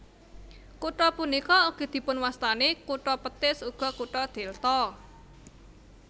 Kutha punika ugi dipunwastani kutha petis ugi kutha delta